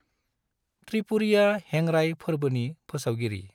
त्रिपुरीया हेंराइ फोरबोनि फोसावगिरि।